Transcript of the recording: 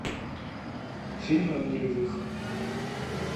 фильмы о нулевых